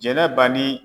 Jɛnɛba ni